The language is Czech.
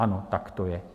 Ano, tak to je.